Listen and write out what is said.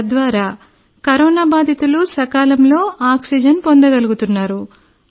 తద్వారా కరోనా బాధితులు సకాలంలో ఆక్సిజన్ పొందగలుగుతున్నారు